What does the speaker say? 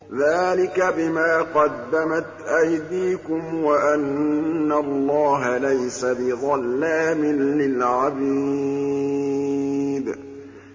ذَٰلِكَ بِمَا قَدَّمَتْ أَيْدِيكُمْ وَأَنَّ اللَّهَ لَيْسَ بِظَلَّامٍ لِّلْعَبِيدِ